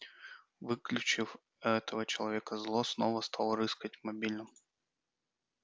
выключив этого человека злостно стал рыскать в мобильном